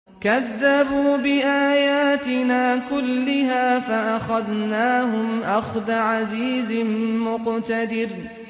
كَذَّبُوا بِآيَاتِنَا كُلِّهَا فَأَخَذْنَاهُمْ أَخْذَ عَزِيزٍ مُّقْتَدِرٍ